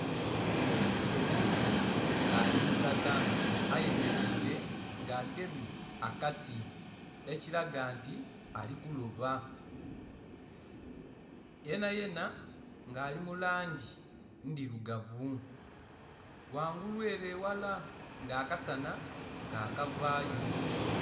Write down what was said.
Omuntu nga ali mulala ayemeleile nga agemye akati, ekilaga nti ali kuloba. Yenayena nga ali mu langi ndhilugavu, ghangulu ele eghala nga akasanha ka kavaayo.